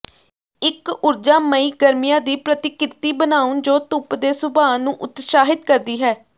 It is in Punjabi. ਇੱਕ ਊਰਜਾਮਈ ਗਰਮੀਆਂ ਦੀ ਪ੍ਰਤੀਕ੍ਰਿਤੀ ਬਣਾਉ ਜੋ ਧੁੱਪ ਦੇ ਸੁਭਾਅ ਨੂੰ ਉਤਸ਼ਾਹਿਤ ਕਰਦੀ ਹੈ